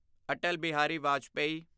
Atal Bihari Vajpayee